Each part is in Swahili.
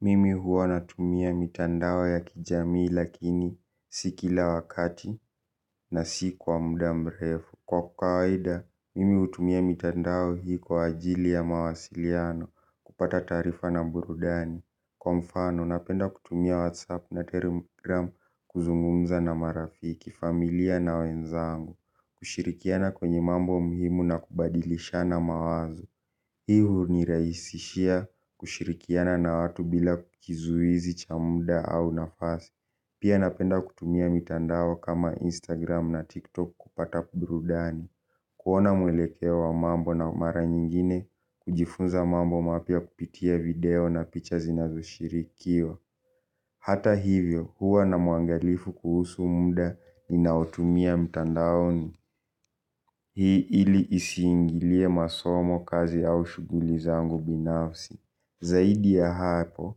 Mimi huwa natumia mitandao ya kijamii lakini si kila wakati na si kwa muda mrefu. Kwa kawaida, mimi hutumia mitandao hii kwa ajili ya mawasiliano kupata taarifa na burudani. Kwa mfano, napenda kutumia whatsapp na telegram kuzungumza na marafiki, familia na wenzangu. Kushirikiana kwenye mambo muhimu na kubadilishana mawazo. Hii huniraisishia kushirikiana na watu bila kizuizi cha muda au nafasi. Pia napenda kutumia mitandao kama Instagram na TikTok kupata burudani. Kuona mwelekeo wa mambo na mara nyingine kujifunza mambo mapya kupitia video na picha zinazoshirikiwa. Hata hivyo huwa na muangalifu kuhusu muda ninaotumia mtandaoni. Hii ili isiingilie masomo kazi au shughuli zangu binafsi. Zaidi ya hapo,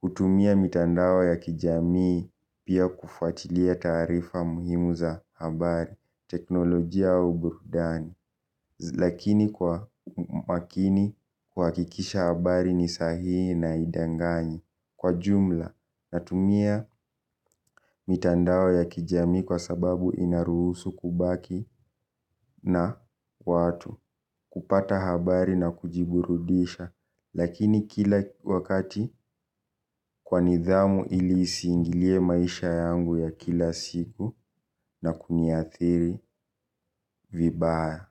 hutumia mitandao ya kijamii pia kufuatilia taarifa muhimu za habari, teknolojia au burudani. Lakini kwa makini kuhakikisha habari ni sahihi na haidanganyi kwa jumla natumia mitandao ya kijami kwa sababu inaruhusu kubaki na watu kupata habari na kujiburudisha. Lakini kila wakati kwa nidhamu ili isiingilie maisha yangu ya kila siku na kuniathiri vibaya.